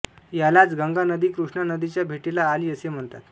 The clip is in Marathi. यालाच गंगा नदी कृष्णा नदीच्या भेटीला आली असे म्हणतात